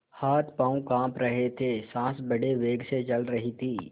हाथपॉँव कॉँप रहे थे सॉँस बड़े वेग से चल रही थी